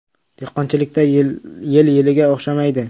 “Dehqonchilikda yil yilga o‘xshamaydi.